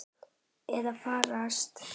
Að farast?